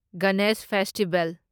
Ganesh festival